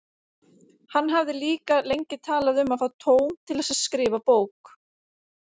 Hann hafði líka lengi talað um að fá tóm til að skrifa bók.